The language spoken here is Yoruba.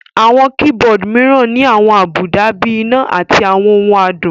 Àwọn keyboard mìíràn ní àwọn àbùdá bíi iná àti àwọn ohùn adùn